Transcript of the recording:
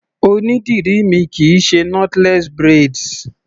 Onídìrí mi kì í ṣe knotless braids.